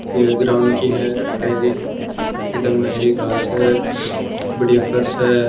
ये ग्राउन्ड की है हेरिक एकदम हेरी घास है बढियाँ फर्श है।